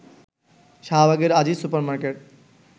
শাহবাগের Aziz super market